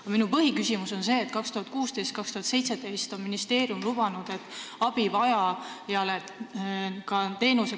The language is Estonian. Aga minu põhiküsimus on selle kohta, et 2016–2017 on ministeerium lubanud abivajajale kiiremat teenust.